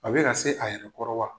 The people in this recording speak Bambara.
A bɛ na se a yɛrɛ kɔrɔ wa?